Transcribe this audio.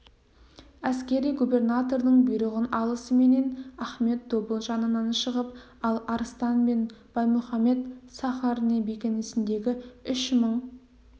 әскери губернатордың бұйрығын алысыменен ахмет тобыл жағынан шығып ал арыстан мен баймұхамед сахарный бекінісіндегі үш мың